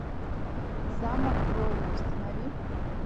замок крови установи